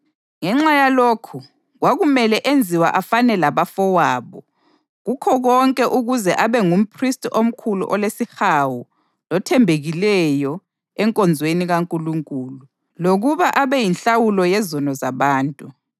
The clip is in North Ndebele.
Ngenxa yalokhu kwakumele enziwe afane labafowabo kukho konke ukuze abe ngumphristi omkhulu olesihawu lothembekileyo enkonzweni kaNkulunkulu, lokuba abeyinhlawulo yezono zabantu.